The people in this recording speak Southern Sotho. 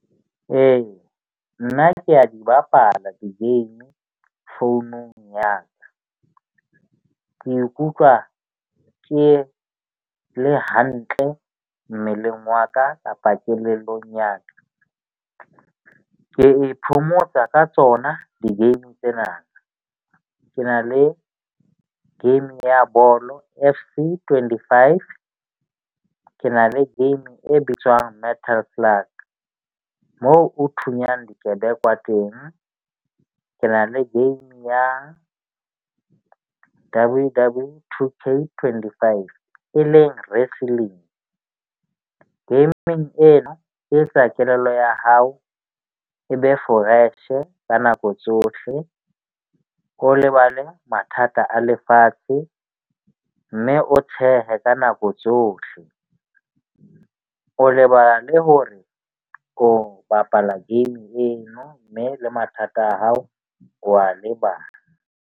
Ee, nna ke a di bapala di-game founung ya ka. Ke ikutlwa ke le hantle mmeleng wa ka kapa kelellong ya ka. Ke iphomotsa ka tsona di-game tsena. Ke na le game ya bolo F_O twenty five. Ke na le game e bitswang moo o thunyana dikebekwa teng. Ke na le game ya two three twenty five e leng wrestling. Game-ng ena e etsa kelello ya hao e be foreshe ka nako tsohle, o lebale mathata a lefatshe. Mme o tshehe ka nako tsohle, o lebala le ho re o bapala game eno, mme le mathata a hao o a lebala.